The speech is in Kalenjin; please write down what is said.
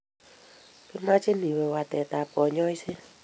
kimekchin iwe wetaab kanyoishet